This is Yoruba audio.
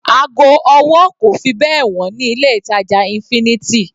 Ago ọwọ́ kò fi bẹ́ẹ̀ wọ́n ní ilé ìtàjà infinity.